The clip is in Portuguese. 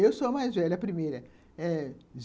Eu sou a mais velha, a primeira, eh